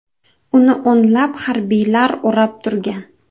Uni o‘nlab harbiylar o‘rab turgan.